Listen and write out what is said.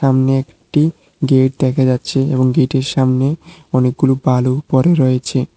সামনে একটি গেট দেখা যাচ্ছে এবং গেটের সামনে অনেকগুলো বালু পড়ে রয়েছে।